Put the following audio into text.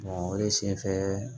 o ye sen fɛ